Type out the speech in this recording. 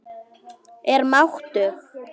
Er máttug.